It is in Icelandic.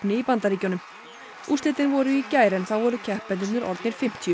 í Bandaríkjunum úrslitin voru í gær en þá voru keppendurnir orðnir fimmtíu